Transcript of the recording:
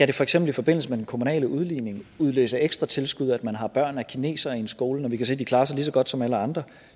det for eksempel i forbindelse med den kommunale udligning udløse ekstra tilskud at man har børn af kinesere en skole når vi kan se de klarer sig lige så godt som alle andre